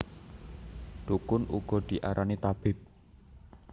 Dhukun uga diarani tabib